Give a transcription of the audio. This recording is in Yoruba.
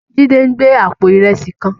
Jide n gbé àpó irèsí kán